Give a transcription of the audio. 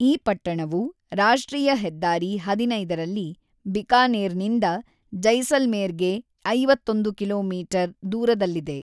ಈ ಪಟ್ಟಣವು ರಾಷ್ಟ್ರೀಯ ಹೆದ್ದಾರಿ ೧೫ ರಲ್ಲಿ ಬಿಕಾನೇರ್‌ನಿಂದ ಜೈಸಲ್ಮೇರ್‌ಗೆ ೫೧ ಕಿಲೋಮೀಟರ್ ದೂರದಲ್ಲಿದೆ.